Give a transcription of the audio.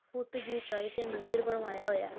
ਫੁੱਟ ਦੀ ਉਚਾਈ ਤੇ ਮੰਦਿਰ ਬਣਵਾਇਆ ਹੋਇਆ ਹੈ।